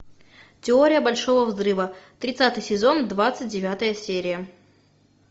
теория большого взрыва тридцатый сезон двадцать девятая серия